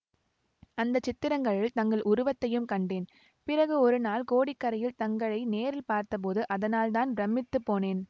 அந்த சித்திரங்களில் தங்கள் உருவத்தையும் கண்டேன் பிறகு ஒரு நாள் கோடிக்கரையில் தங்களை நேரில் பார்த்தபோது அதனால்தான் பிரமித்துப் போனேன்